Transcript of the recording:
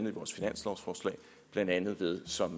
blandt andet ved som